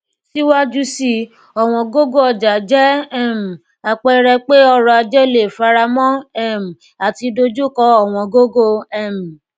síwájú síi ọwọn gogo ọjà jẹ um àpẹẹrẹ pe ọrọ ajé leè faramọ um àti dojukọ ọwọn gogo um